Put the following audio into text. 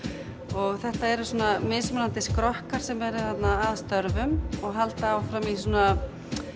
og þetta eru mismunandi skrokkar sem eru þarna að störfum og halda áfram í svona